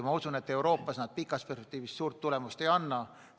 Ma usun, et Euroopas need katsed pikas perspektiivis suurt tulemust ei anna.